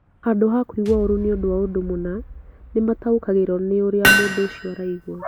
Handũ ha kũigua ũũru nĩ ũndũ wa ũndũ mũna, nĩ mataũkagĩrũo nĩ ũrĩa mũndũ ũcio araigua.